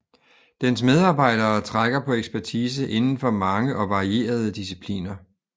Dens medarbejdere trækker på ekspertise inden for mange og varierede discipliner